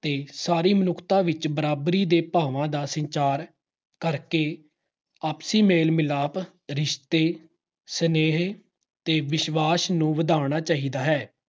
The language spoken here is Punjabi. ਤੇ ਸਾਰੀ ਮਨੁੱਖਤਾ ਵਿੱਚ ਬਰਾਬਰੀ ਦੇ ਭਾਵਾਂ ਦਾ ਸੰਚਾਰ ਕਰਕੇ ਆਪਸੀ ਮੇਲ-ਮਿਲਾਪ, ਰਿਸ਼ਤੇ, ਸੁਨ੍ਹੇਹੇ ਦੇ ਵਿਸ਼ਵਾਸ ਨੂੰ ਵਧਾਉਣਾ ਚਾਹੀਦਾ ਹੈ।